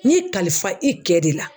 N y'i kalifa i kɛ de la.